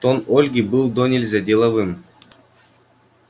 тон ольги был донельзя деловым